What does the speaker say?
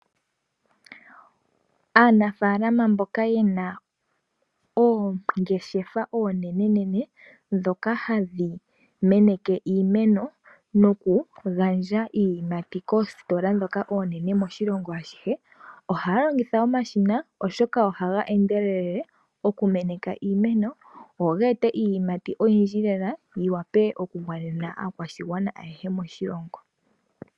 Aanafalama mboka yena oongeshefa onenenene ndhoka hadhi meneke iimeno noku gandja iiyimati koositola ndhoka onene moshilongo ashihe ohaya longitha omashina, oshoka ohaga endelele oku meneka iimeno go geete iiyimati oyindji lela yi wape oku gwanena aakwashigwana ayehe moshilongo.